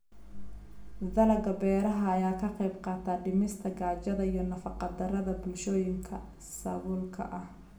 Dalagga beeraha ayaa ka qaybqaata dhimista gaajada iyo nafaqa-darrada bulshooyinka saboolka ah.